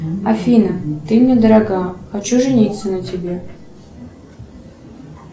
афина ты мне дорога хочу жениться на тебе